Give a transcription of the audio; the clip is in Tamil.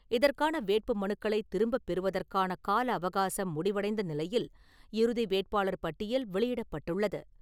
இதற்கான வேட்புமனுக்களைத் திரும்பப்பெறுவதற்கான கால அவகாசம் முடிவடைந்த நிலையில், இறுதி வேட்பாளர் பட்டியல் வெளியிடப்பட்டுள்ளது.